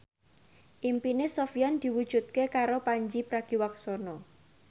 impine Sofyan diwujudke karo Pandji Pragiwaksono